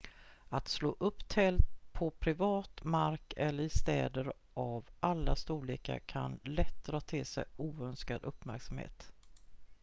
att slå upp tält på privat mark eller i städer av alla storlekar kan lätt dra till sig oönskad uppmärksamhet